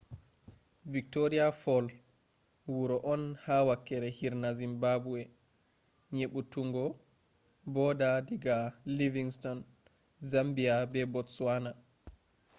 victoria fall wuro on ha wakkere hirna zimbabwe yeɓɓutuggo border diga livingstone zambia be botsawana